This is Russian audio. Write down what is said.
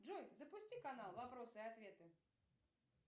джой запусти канал вопросы и ответы